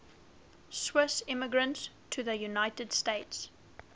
swiss immigrants to the united states